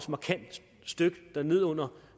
støt ned under